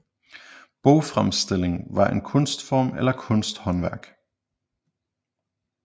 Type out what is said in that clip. Bogfremstillingen var en kunstform eller kunsthåndværk